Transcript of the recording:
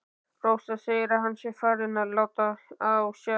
Rósa segir að hann sé farinn að láta á sjá.